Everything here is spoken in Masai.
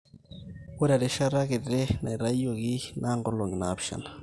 ore erishata kiti naitoiyieki naa nkolong'i naapishana